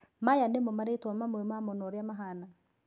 maya nĩmo marĩtwa mamwe mamo na ũrĩa mahana.